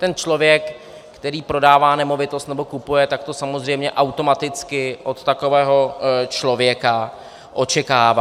Ten člověk, který prodává nemovitost nebo kupuje, tak to samozřejmě automaticky od takového člověka očekává.